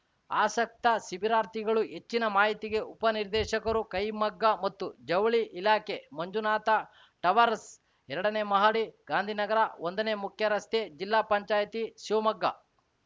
ಆಸಕ್ತ ಶಿಬಿರಾರ್ಥಿಗಳು ಹೆಚ್ಚಿನ ಮಾಹಿತಿಗೆ ಉಪನಿರ್ದೇಶಕರು ಕೈಮಗ್ಗ ಮತ್ತು ಜವುಳಿ ಇಲಾಖೆ ಮಂಜುನಾಥ ಟವರ್‍ಸ್ ಎರಡನೇ ಮಹಡಿ ಗಾಂಧಿನಗರ ಒಂದನೇ ಮುಖ್ಯರಸ್ತೆ ಜಿಲ್ಲಾ ಪಂಚಾಯಿತಿ ಶಿವಮೊಗ್ಗ